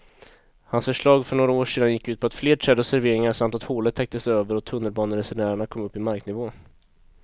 Hans förslag för några år sedan gick ut på fler träd och serveringar samt att hålet täcktes över och tunnelbaneresenärerna kom upp i marknivå.